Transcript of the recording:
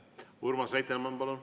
Urmas Reitelmann, palun!